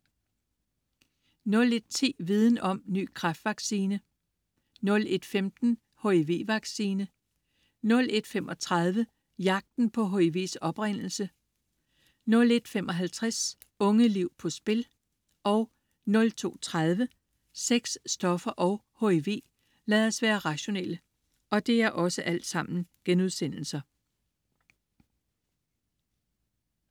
01.10 Viden Om; Ny kræftvaccine* 01.15 HIV-vaccine* 01.35 Jagten på HIV's oprindelse* 01.55 Unge liv på spil* 02.30 Sex, stoffer og HIV. Lad os være rationelle*